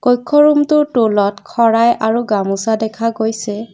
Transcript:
কক্ষ ৰুমটোৰ তলত খৰাই আৰু গামোচা দেখা গৈছে।